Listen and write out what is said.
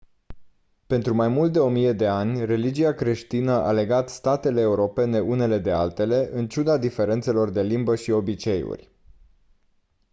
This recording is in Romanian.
pentru mai mult de o mie de ani religia creștină a legat statele europene unele de altele în ciuda diferențelor de limbă și obiceiuri